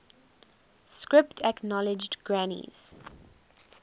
script acknowledged granny's